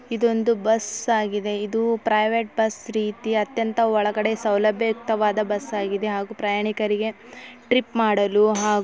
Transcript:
ಇದು ಒಂದು ಬಸ್ ಆಗಿದೆ ಇದು ಪ್ರೈವೇಟ್ ಬಸ್ ರೀತಿ ಅತ್ಯಂತ ಒಳಗಡೆ ಸವಲಭ್ಯಯುಕ್ತವಾದ ಬಸ್ ಆಗಿದೆ ಹಾಗು ಪ್ರಯಾಣಿಕರಿಗೆ ಟ್ರಪ್ ಮಾಡಲು ಹಾ--